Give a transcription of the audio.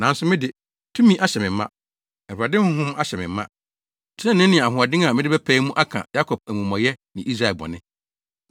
Nanso me de, tumi ahyɛ me ma, Awurade Honhom ahyɛ me ma trenee ne ahoɔden a mede bɛpae mu aka Yakob amumɔyɛ ne Israel bɔne.